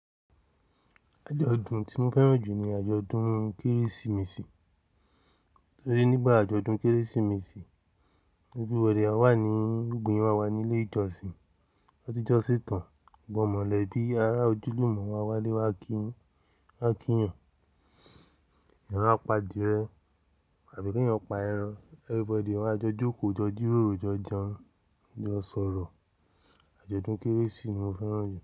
Àjọ̀dún tí mo fẹ́ràn jù ní àjọ̀dún Kérésìmesì, torí nígbà àjọ̀dún Kérésìmesì, everybody á wà ní gbogbo yan ma ní ilé ìjọsìn, tan bati jọ́sín tàn, gbọ́ mọ̀lẹ́ bí ará ojúlùmọ̀ wa wálé wá kí yin wọn kí yan, eyan máa pa adìrẹ àbí kí wọn pa ẹran, everybody wá jọ jókòó jọ jírórò jọ jẹun, jọ sọ̀rọ̀. Àjọ̀dún Kérésì ni mo fẹ́ràn jù.